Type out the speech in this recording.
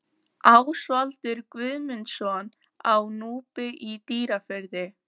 Ásvaldur Guðmundsson á Núpi í Dýrafirði